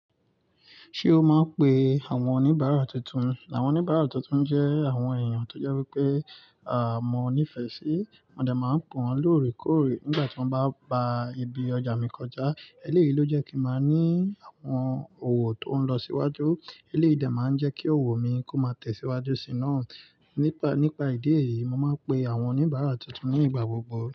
Ṣé o máa ń pe àwọn oníbàárà tuntun? Àwọn oníbàárà tuntun jẹ́ àwọn èèyàn tó jẹ́ wípé, mọ́ nífẹ̀ẹ́ sí. Mo de máa ń pe wọ́n lóòrèkóòrè nígbà tí wọ́n bá pa ibi ọjà mi kọjá. Eléyìí ló jẹ́ kí n máa ní àwọn òwò tó ń lọ síwájú. Eléyìí de máa ń jẹ́ kí òwò mi kó máa tẹ̀síwájú sì náà. Nípa ìdí èyí, mo máa ń pe àwọn oníbàárà tuntun ní ìgbà gbogbo.